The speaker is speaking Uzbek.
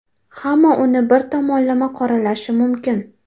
Hamma uni bir tomonlama qoralashi mumkin.